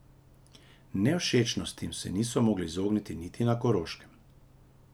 Nevšečnostim se niso mogli izogniti niti na Koroškem.